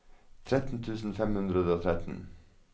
tretten tusen fem hundre og tretten